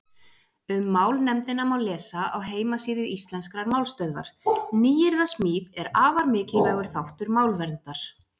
Um málnefndina má lesa á heimasíðu Íslenskrar málstöðvar Nýyrðasmíð er afar mikilvægur þáttur málverndar.